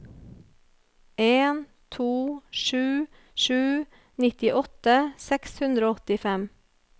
en to sju sju nittiåtte seks hundre og åttifem